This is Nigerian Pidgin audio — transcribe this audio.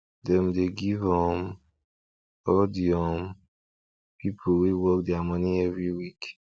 dem dey give um all de um people wey work their money every week